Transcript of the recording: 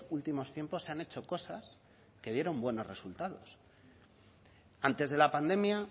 últimos tiempos se han hecho cosas que dieron buenos resultados antes de la pandemia